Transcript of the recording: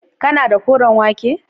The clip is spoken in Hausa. kana da koren wake